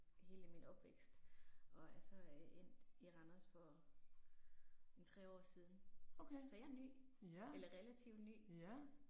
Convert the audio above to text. Hele min opvækst og er så øh endt i Randers for en 3 år siden. Så jeg ny eller relativt ny